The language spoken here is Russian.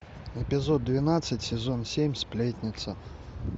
эпизод двенадцать сезон семь сплетница